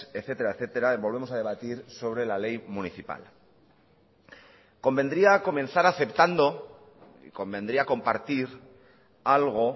etcétera etcétera y volvemos a debatir sobre la ley municipal convendría comenzar aceptando convendría compartir algo